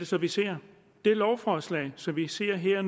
så vi ser det lovforslag som vi ser her